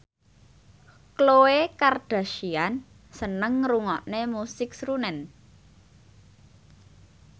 Khloe Kardashian seneng ngrungokne musik srunen